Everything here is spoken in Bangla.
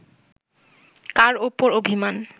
কার ওপর অভিমান